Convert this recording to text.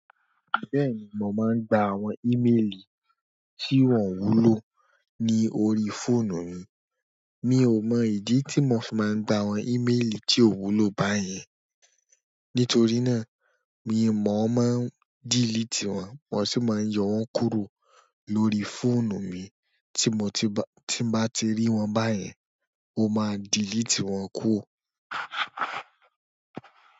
Bẹ́ẹ̀ni, mò máa ń gba àwọn ímeelì tí wọ́n wúlò ní orí fóònù mi. Mi ò mọ ìdí tí mò ṣì máa ń gba àwọn ímeelì tí ò wúlò báyẹn. Nítorí náà, mi mò máa ń dílíìtì wọn, mò ṣì máa ń yọ wọ́n kúrò lórí fóònù mi. Tí mò bá ti rí wọn báyẹn, mo máa dílíìtì wọn kúrò.